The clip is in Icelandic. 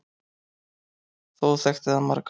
Þó þekkti það marga.